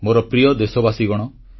ମୋର ପ୍ରିୟ ଦେଶବାସୀଗଣ